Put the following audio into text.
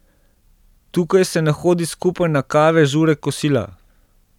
Tukaj se ne hodi skupaj na kave, žure, kosila.